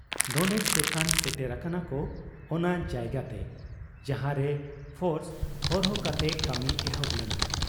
ᱰᱚᱸᱰᱮᱠ ᱛᱮᱠᱷᱟᱱ ᱥᱮᱴᱮᱨ ᱟᱠᱟᱱᱟᱠᱚ ᱚᱱᱟ ᱡᱟᱭᱜᱟᱛᱮ ᱡᱟᱦᱟᱸᱨᱮ ᱯᱷᱳᱨᱥ ᱦᱚᱨᱦᱚ ᱠᱟᱛᱮ ᱠᱟᱹᱢᱤ ᱮᱦᱚᱵ ᱞᱮᱱᱟ ᱾